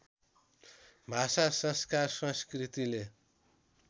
भाषा संस्कार संस्कृतिले